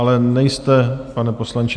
Ale nejste, pane poslanče...